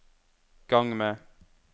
gang med